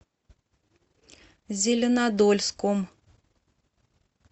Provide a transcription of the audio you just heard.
зеленодольском